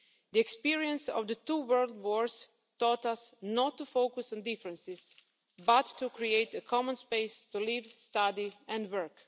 The experience of the two world wars taught us not to focus on differences but to create a common space to live, study and work.